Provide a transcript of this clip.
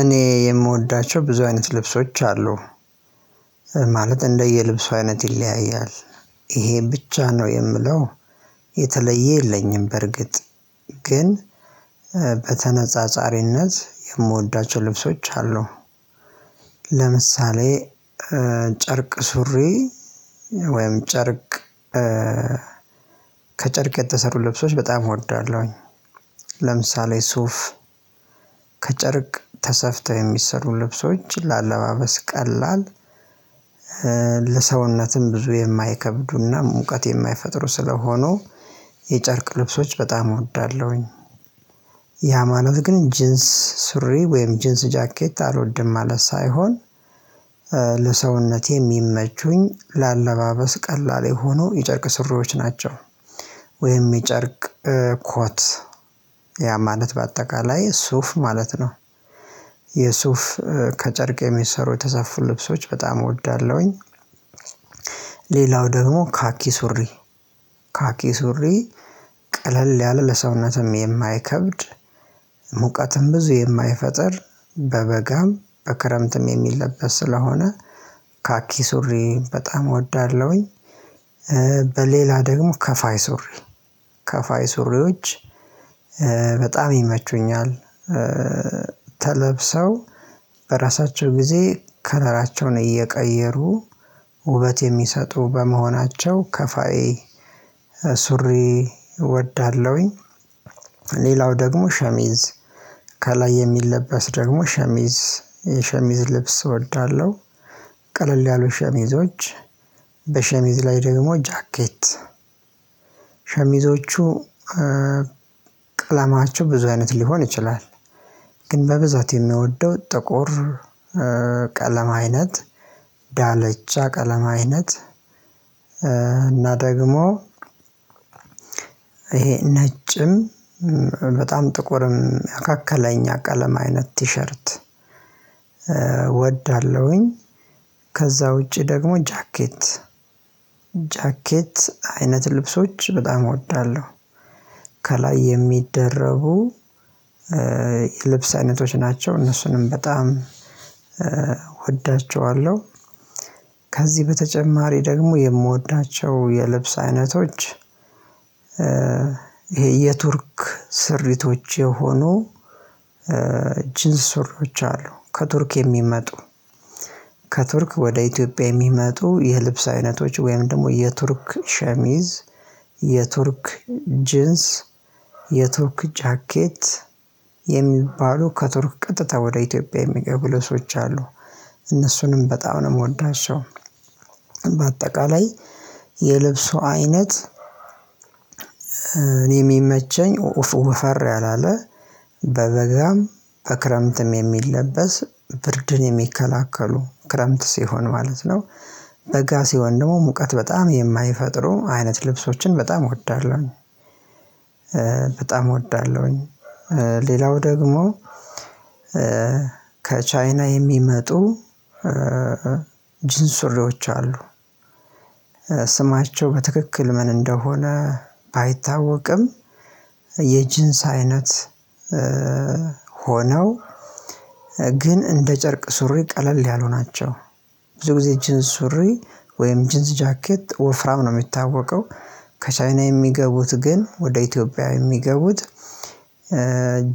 እኔ የምወዳቸው ብዙ አይነት ልብሶች አሉ። ማለት እንደየልብሱ አይነት ይለያያል ይሄ ብቻ ነው የምለው። የተለየ የለኝም በርግጥ ግን በተነጻጻሪነት የምወዳቸው ልብሶች አሉ። ለምሳሌ ጨርቅ ሱሪ ወይም ጨርቅ ከጨርቅ የተሰሩ ልብሶች በጣም እወዳለሁኝ። ለምሳሌ ሱፍ ከጨርቅ ተሰፍተው የሚሰሩ ልብሶች ለአለባበስ ቀላል ለሰውነትም ብዙ የማይከብዱና ሙቀት የማይፈጥሩ ስለሆኑ የጨርቅ ልብሶች በጣም እወዳለሁኝ። ያ ማለት ግን ጂንስ ሱሪ ወይም ጂንስ ጃኬት አልወድም ማለት ሳይሆን። ለሰውነቴ የሚመቹኝ ለአለባበስ ቀላል ሆኖ የጨርቅ ስሪዎች ናቸው። ወይም የጨርቅ ኮት ያ ማለት በአጠቃላይ ሱፍ ማለት ነው። የሱፍ ከጨርቅ የሚሰሩ የተሰፉ ልብሶች በጣም እወዳለሁኝ። ሌላው ደግሞ ካኪ ሱሪ ካኪ ሱሪ ቀለል ያለ ለሰውነትም የማይከብድ ሙቀትም ብዙ የማይፈጥር በበጋም በክረምትም የሚለበስ ስለሆነ ካኪ ሱሪ በጣም እወዳለሁኝ። በሌላ ደግሞ ከፋይ ሱሪ ከፋይ ሱሪዎች በጣም ይመቹኛል። ተለብሰው በራሳቸው ጊዜ ከረራቸውን እየቀየሩ ውበት የሚሰጡ በመሆናቸው ከፋዬ ሱሪ እወዳለሁኝ። ሌላው ደግሞ ሸሚዝ ከላይ የሚለበስ ደግሞ ሸሚዝ የሸሚዝ ልብስ እወዳለሁ ቀለል ያሉ ሸሚዞች በሸሚዝ ላይ ደግሞ ጃኬት ሸሚዞቹ ቀለማቸው ብዙ አይነት ሊሆን ይችላል። ግን በብዛት የምወደው ጥቁር ቀለም አይነት ዳለቻ ቀለም አይነት እና ደግሞ ይሄ ነጭም በጣም ጥቁርም መካከለኛ አቀለም አይነት ቲሸርት እወዳለሁኝ። ከዛ ውጪ ደግሞ ጃኬት ጃኬት አይነት ልብሶች በጣም እወዳለሁ። ከላይ የሚደረቡ ልብስ አይነቶች ናቸው እነሱንም በጣም እወዳቸዋለሁ። ከዚህ በተጨማሪ ደግሞ የምወዳቸው የልብስ አይነቶች ይሄ የቱርክ ስሪቶች የሆኑ ጂንስ ሱሪች አሉ። ከቱርክ የሚመጡ ከቱርክ ወደ ኢትዮጵያ የሚመጡ የልብስ አይነቶች ወይም ደግሞ የቱርክ ሸሚዝ የቱርክ ጂንስ የቱርክ ጃኬት የሚባሉ ከቱርክ ቀጥታ ወደ ኢትዮጵያ የሚገቡ ልብሶች አሉ። እነሱንም በጣም ነው የምወዳቸው። በአጠቃላይ የልብሱ አይነት እኔ የሚመቸኝ ወፈር ያላለ በበጋም በክረምትም የሚለበስ ብርድን የሚከላከሉ ክረምት ሲሆን ማለት ነው በጋ ሲሆን ደግሞ ሙቀት በጣም የማይፈጥሩ አይነት ልብሶችን በጣም እወዳለሁ እወዳለሁኝ። በጣም እወዳለሁኝ። ሌላው ደግሞ ከቻይና የሚመጡ ጂንስ ሱሪዎች አሉ። ስማቸው በትክክል ምን እንደሆነ ባይታወቅም የጅንስ አይነት ሆነው ግን እንደ ጨርቅ ሱሪ ቀለል ያሉ ናቸው። ብዙ ጊዜ ጂንስ ሱሪ ወይም ጂንስ ጃኬት ወፍራም ነው የሚታወቀው። ከቻይና የሚገቡት ግን ወደ ኢትዮጵያ የሚገቡት